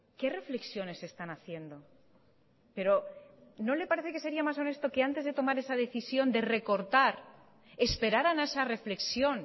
que reflexiones están haciendo pero no le parece que sería mas honesto que antes de tomar esa decisión de recortar esperaran a esa reflexión